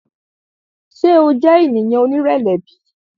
Ṣe o jẹ eniyan onirẹlẹ bi?